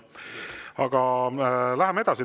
Aga läheme edasi.